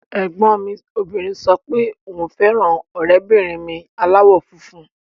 Ẹ̀gbọ́n mi obìnrin sọ pé òun fẹ́ràn ọ̀rẹ́bìnrin mi aláwọ̀ funfun